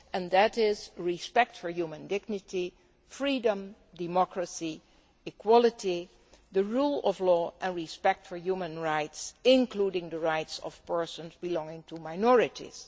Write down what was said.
These are respect for human dignity, freedom, democracy, equality, the rule of law and respect for human rights, including the rights of persons belonging to minorities.